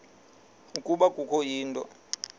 ukuba kukho into